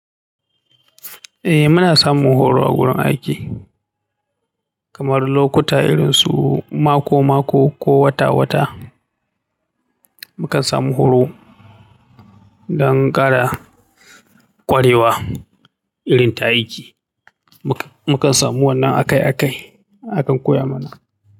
Eh muna samun horo a wurin aiki, kamar lokuta irin su mako-mako ko wata-wata. Mukan samu horo dangara kwarewa irin ta aiki. Mukan samu wannan akai-akai akan koya mana.